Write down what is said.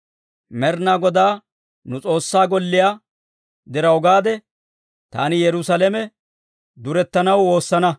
Med'inaa Godaa nu S'oossaa golliyaa diraw gaade, taani Yerusaalame durettanaw woosana.